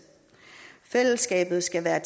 fællesskabet skal være